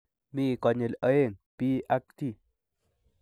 Mi konyil oeng' : B ak T.